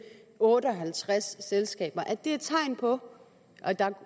otte og halvtreds selskaber er tegn på at der